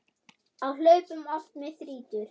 Á hlaupum oft mig þrýtur.